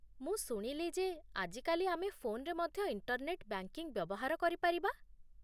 ମୁଁ ଶୁଣିଲି ଯେ ଆଜିକାଲି ଆମେ ଫୋନ୍‌ରେ ମଧ୍ୟ ଇଣ୍ଟର୍‌ନେଟ୍ ବ୍ୟାଙ୍କିଙ୍ଗ ବ୍ୟବହାର କରିପାରିବା